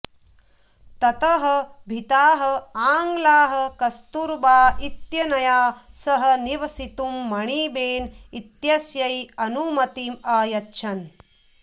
ततः भीताः आङ्ग्लाः कस्तूरबा इत्यनया सह निवसितुं मणिबेन इत्यस्यै अनुमतिम् अयच्छन्